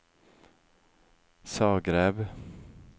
Zagreb